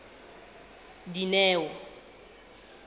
dineo